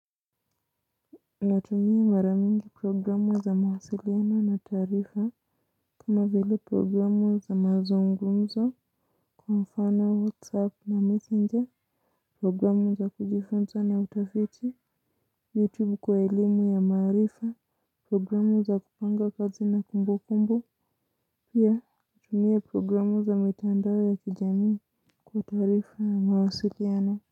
Natumia maramingi programu za mahasiliano na tarifa. Kama vile programu za mazungumzo kwa mfano whatsapp na messenger programu za kujifunza na utafiti Youtube kwa elimu ya marifa programu za kupanga kazi na kumbu kumbu pia natumia programu za mitandawo ya kijami kwa tarifa na mahasiliano.